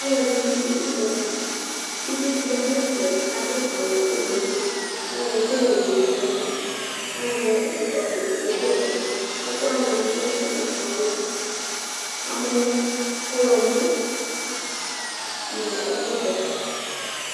Alʋɛdɩnɩ dʋ ʋdza li Uvi dɩ ya nʋ ɛfɛ kʋ adʋ awʋ ʋblʋ kʋ ayɔ ɛkʋwɛ yɔwu nʋ ɔmɔ kʋ azɛ ɛzɔkpako kʋ ɔkede ɛkʋ Ɛkʋ wanɩ ɛdɩ lɛ ʋgbatawla, amɔ ɔɣlɔmɔ nʋ ɛkʋvɛ